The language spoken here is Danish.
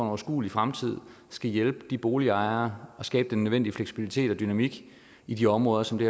overskuelig fremtid skal hjælpe de boligejere og skabe den nødvendige fleksibilitet og dynamik i de områder som det